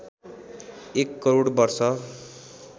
१ करोड वर्ष